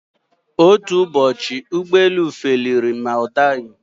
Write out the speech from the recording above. Otú Ụbọchị ụgbọ elu feliri ma ọ daghi.